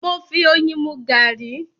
Mo fi oyin mú garri